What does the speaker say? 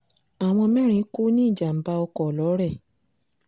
àwọn mẹ́rin kú nínú ìjàm̀bá ọkọ̀ lọ́rẹ́